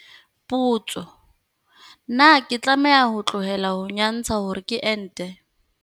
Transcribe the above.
Potso, na ke tlameha ho tlohela ho nyantsha hore ke ente?